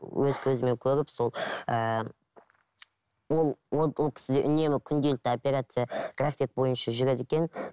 өз көзіммен көріп сол ыыы ол ол ол кісіде үнемі күнделікті операция график бойынша жүреді екен